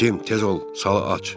Cim tez ol, sala aç.